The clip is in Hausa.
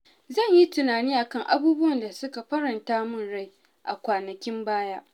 Zan yi tunani a kan abubuwan da suka faranta min rai a kwanakin baya.